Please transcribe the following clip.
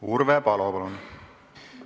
Urve Palo, palun!